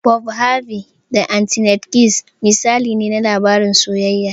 "Bob Harvey da Annete Adkins" misali ne na labarin soyayya.